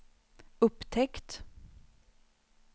upptäckt